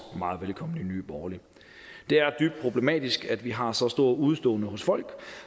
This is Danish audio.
meget velkommen det er dybt problematisk at vi har så store udeståender hos folk